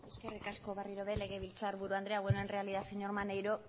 eskerrik asko berriro ere legebiltzarburu andrea bueno en realidad señor maneiro